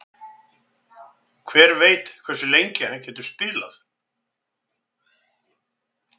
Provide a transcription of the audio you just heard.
Hver veit hversu lengi hann getur spilað?